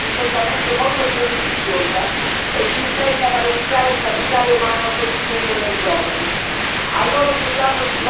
Ma la sfida che ci attende è certamente molto più ambiziosa e ci impegna a valorizzare il capitale umano costituito dai giovani.